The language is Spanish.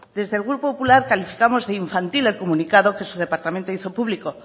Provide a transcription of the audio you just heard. desde el grupo popular calificamos de infantil el comunicado que se departamento hizo público